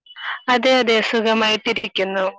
അതെ അതെ സുഖമായിട്ടിരിക്കുന്നു.